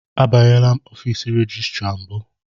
Abanyela ọfiisi rejistra mbụ.